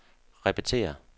repetér